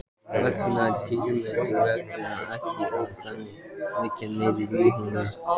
Veigarnar dýru megna ekki að þagga niður í honum.